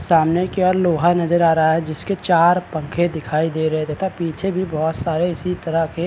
सामने की और लोहा नजर आ रहा है जिसके चार पंखे दिखाई दे रहें हैं तथा पीछे भी बहुत सारे इसी तरह के --